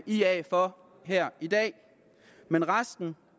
ia for her i dag men resten